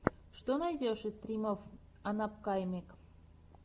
что найдешь из стримов анапкамэйк